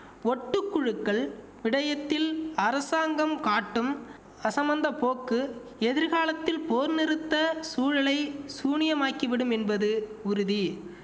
ஒட்டு குழுக்கள் விடயத்தில் அரசாங்கம் காட்டும் அசமந்த போக்கு எதிர்காலத்தில் போர் நிறுத்த சூழலை சூனியமாக்கிவிடும் என்பது உறுதி